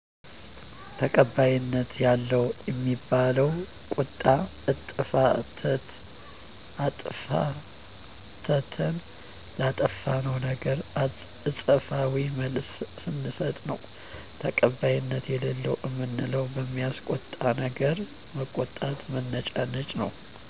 ተቀባይነት ያለው እሚባለው ቁጣ አጥፋተተን ላጠፋነው ነገር አጸፋዊ መልስ ስንስጥ ነው ተቀባይነት የለለው እምንለው በማያስቆጣነገር መቆጣት መነጫነጭ ነው